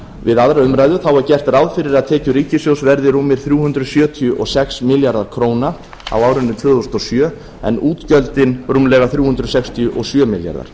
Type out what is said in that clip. við önnur umræða er gert ráð fyrir að kemur ríkissjóðs verði rúmir þrjú hundruð sjötíu og sex milljarðar króna á árinu tvö þúsund og sjö en útgjöldin rúmlega þrjú hundruð sextíu og sjö milljarðar